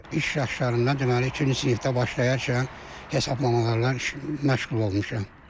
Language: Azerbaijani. İş illərində deməli ikinci sinifdə başlayarkən hesablamalarla işlə məşğul olmuşam.